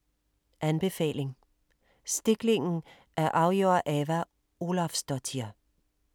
Anbefaling: Stiklingen af Auður Ava Ólafsdóttir